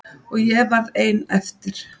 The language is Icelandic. Og ég varð eftir ein.